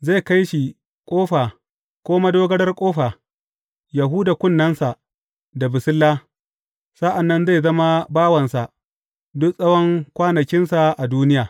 Zai kai shi ƙofa ko madogarar ƙofa, yă huda kunnensa da basilla, sa’an nan zai zama bawansa duk tsawon kwanakinsa a duniya.